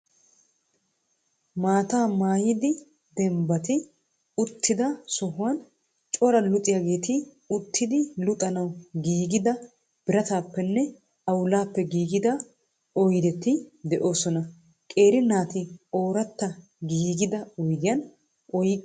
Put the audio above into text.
Maataa maayidi deembati uttida sohuwaan cora luxiyaageeti uttidi luxanawu giigida biratappenne xawulappe gigida oyideti de'oosona. Qeeri naati oraati gigida oyiddiya oyiqqi oyiqqidi xeeloosona.